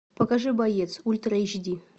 покажи боец ультра эйч ди